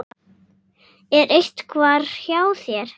Er einhver hjá þér?